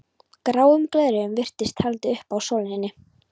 Gráum gleraugum virtist haldið upp að sólinni.